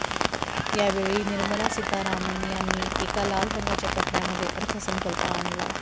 यावेळी निर्मला सीतारामन यांनी एका लाल रंगाच्या कपडय़ामध्ये अर्थसंकल्प आणला